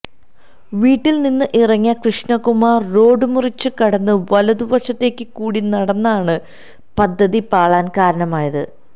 വീട്ടില് നിന്ന് ഇറങ്ങിയ കൃഷ്ണകുമാര് റോഡ് മുറിച്ച് കടന്ന് വലത് വശത്ത് കൂടി നടന്നതാണ് പദ്ധതി പാളാന് കാരണമായത്